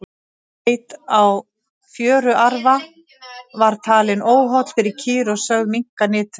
beit á fjöruarfa var talinn óholl fyrir kýr og sögð minnka nyt þeirra